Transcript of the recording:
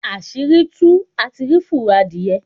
Asiri tuú, á tí rí fúrọ́ adiyẹ.